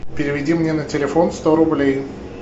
переведи мне на телефон сто рублей